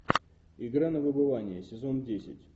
игра на выбывание сезон десять